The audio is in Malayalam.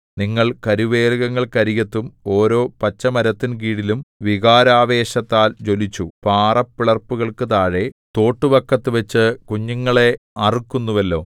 നിങ്ങൾ കരുവേലകങ്ങൾക്കരികത്തും ഓരോ പച്ചമരത്തിൻകീഴിലും വികാരാവേശത്താൽ ജ്വലിച്ചു പാറപ്പിളർപ്പുകൾക്കു താഴെ തോട്ടുവക്കത്തുവച്ചു കുഞ്ഞുങ്ങളെ അറുക്കുന്നുവല്ലോ